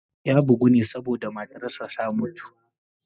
Ya bugu ne saboda matarsa ​​ta mutu.